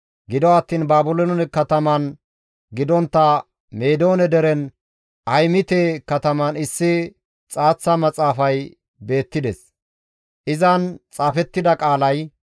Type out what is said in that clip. gido attiin Baabiloone kataman gidontta Meedoone deren Ahimite kataman issi xaaththa maxaafay beettides; izan xaafettida qaalay,